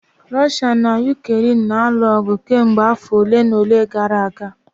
Russia na Ukraine na-alụ ọgụ kemgbe afọ ole na ole gara aga